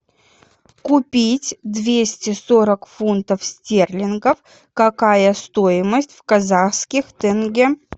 купить двести сорок фунтов стерлингов какая стоимость в казахских тенге